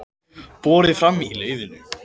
Borið fram í laufinu